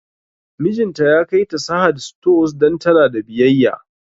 Mijinta ya kai ta Sahad stores don tana da biyayya